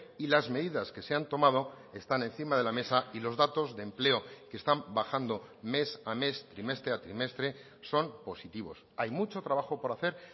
y las medidas que se han tomado están encima de la mesa y los datos de empleo que están bajando mes a mes trimestre a trimestre son positivos hay mucho trabajo por hacer